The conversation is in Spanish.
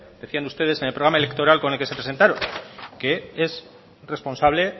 decían ustedes en el programa electoral con el que se presentaron que es responsable